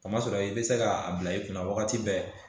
A ma sɔrɔ i bɛ se k'a bila i kunna wagati bɛɛ